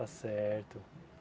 Está certo.